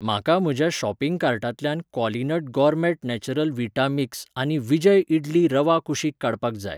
म्हाका म्हज्या शॉपिंग कार्टांतल्यान क्वॉलिनट गोरमॅट नॅचरल विटा मिक्स आनी विजय इडली रवा कुशीक काडपाक जाय.